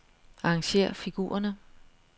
Arrangér figurerne.